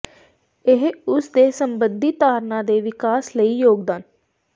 ਇਹ ਉਸ ਦੇ ਸਬਿੰਧੀ ਧਾਰਨਾ ਦੇ ਵਿਕਾਸ ਲਈ ਯੋਗਦਾਨ